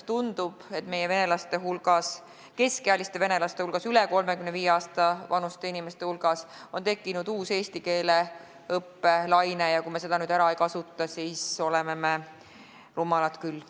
Tundub, et meie keskealiste venelaste hulgas, üle 35 aasta vanuste venelaste hulgas on tekkinud uus eesti keele õppe laine, ja kui me seda nüüd ära ei kasuta, siis me oleme rumalad küll.